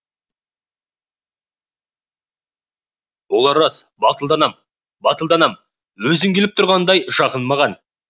ол рас батылданам батылданам өзің келіп тұрғандай жақын маған